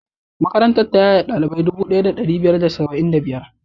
Makarantar ta yaye ɗalibai dubu ɗaya da ɗari biyu da da saba'in da biyar.